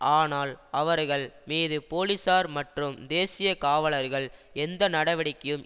ஆனால் அவர்கள் மீது போலீசார் மற்றும் தேசிய காவலர்கள் எந்த நடவடிக்கையும்